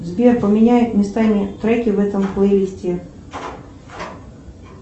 сбер поменяй местами треки в этом плейлисте